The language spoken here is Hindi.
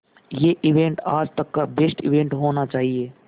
ये इवेंट आज तक का बेस्ट इवेंट होना चाहिए